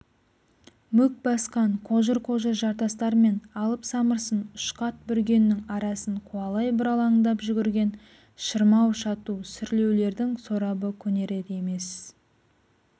мүк басқан қожыр-қожыр жартастар мен алып самырсын ұшқат бүргеннің арасын қуалай бұралаңдап жүгірген шырмау-шату сүрлеулердің сорабы көнерер емес